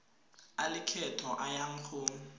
a lekgetho a yang go